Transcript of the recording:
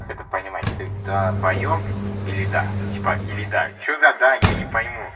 это понимать ты долбаеб или да типа или да что за да я не пойму